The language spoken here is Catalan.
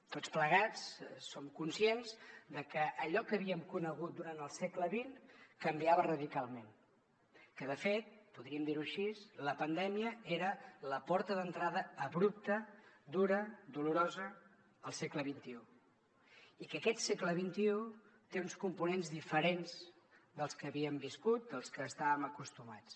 tots plegats som conscients que allò que havíem conegut durant el segle xx canviava radicalment que de fet podríem dir ho així la pandèmia era la porta d’entrada abrupta dura dolorosa al segle xxi i que aquest segle xxi té uns components diferents dels que havíem viscut dels que estàvem acostumats